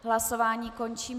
Hlasování končím.